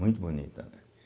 Muito bonita.